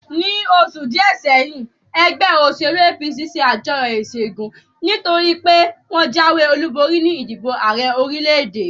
Ní oṣù díè sẹ́yìn, ẹgbẹ́ òṣèlú APC ṣe àjọyọ̀ ìṣẹ́gun, nítorí pé wọ́n jáwé olúborí ní ìdìbò Ààrẹ orílè-èdè